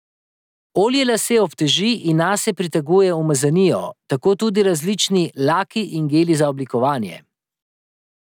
Olje lase obteži in nase priteguje umazanijo, tako tudi različni laki in geli za oblikovanje.